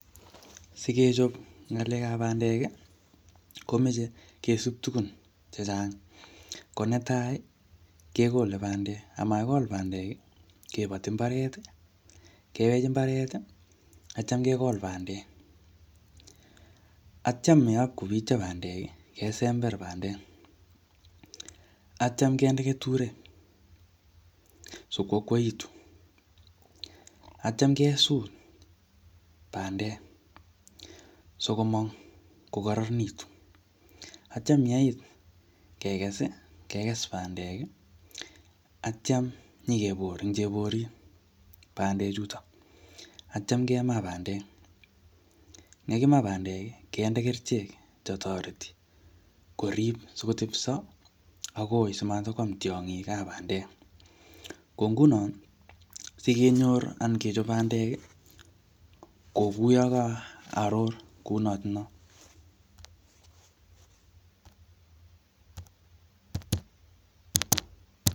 Sikechop ngalekab bandek, komeche kesub tugun chechang. Ko netai, kegole bandek, amakigol bandek, kebati mbaret, kewech mbaret, atyam kegol bandek. Atyam yopkobitio bandek, kesember bandek. Atyam kende keturek, sikwakaitu. Atyam kesut bandek, sikomong kokararanitu. Atyam yeit kekes, kekes bandek, atyam nyikebor ing cheborit, bandek chuto. Atyam kemaa bandek. Yekimaa bandek, kende kerichek che toreti korib sikotebso agoi, simatikwam tiongikab bandek. Ko nguno, sikenyor anan kechop bandek, kokuyo ka aror kounotono.